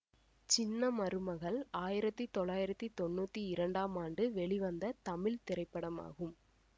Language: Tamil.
சின்ன மருமகள் ஆயிரத்தி தொள்ளாயிரத்தி தொன்னூத்தி இரண்டாம் ஆண்டு வெளிவந்த தமிழ் திரைப்படமாகும்